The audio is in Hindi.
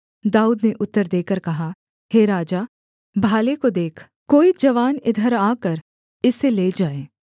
दाऊद ने उत्तर देकर कहा हे राजा भाले को देख कोई जवान इधर आकर इसे ले जाए